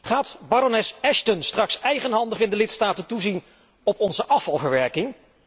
Gaat Baroness Ashton straks eigenhandig in de lidstaten toezien op onze afvalverwerking?